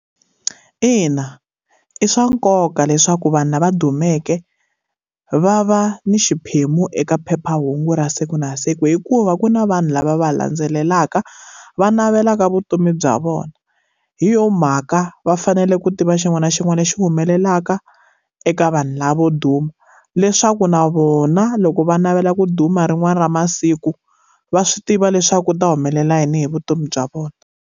Ina, i swa nkoka leswaku vanhu lava dumeke va va ni xiphemu eka phephahungu ra siku na siku hikuva ku na vanhu lava va landzelelaka, va navelaka vutomi bya vona. Hi yona mhaka va fanele ku tiva xin'wana na xin'wana lexi humelelaka eka vanhu lavo duma, leswaku na vona loko va navela ku duma rin'wana ra masiku, va swi tiva leswaku u ta humelela yini hi vutomi bya vona.